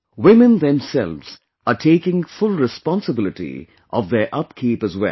Women themselves are taking full responsibility of their upkeep as well